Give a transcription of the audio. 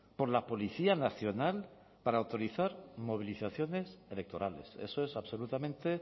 por la policía nacional para autorizar movilizaciones electorales eso es absolutamente